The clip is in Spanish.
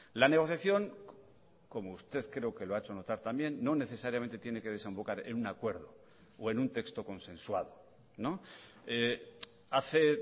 la negociación como usted creo que lo ha hecho notar también no necesariamente tiene que desembocar en un acuerdo o en un texto consensuado hace